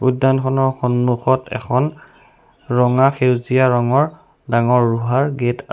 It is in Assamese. উদ্যানখনৰ সম্মুখত এখন ৰঙা সেউজীয়া ৰঙৰ ডাঙৰ ৰোহাৰ গেট আছে।